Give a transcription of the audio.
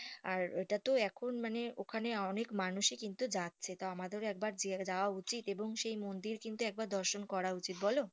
আর ওটা তো এখন মানে ওখানে অনেক মানুষ ই কিন্তু যাচ্ছে তা আমাদের একবার যাওয়া উচিত এবং মন্দির ও কিন্তু দৰ্শৰ করা উচিত বলো